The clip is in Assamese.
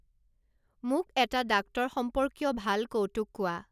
মোক এটা ডাক্তৰ সম্পৰ্কীয় ভাল কৌতুক কোৱা